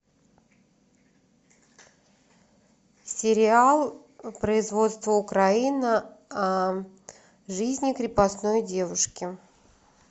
сериал производство украина о жизни крепостной девушки